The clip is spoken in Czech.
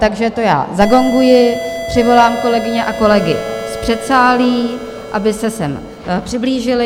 Takže to já zagonguji, přivolám kolegyně a kolegy z předsálí, aby se sem přiblížili.